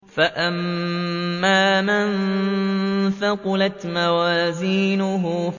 فَأَمَّا مَن ثَقُلَتْ مَوَازِينُهُ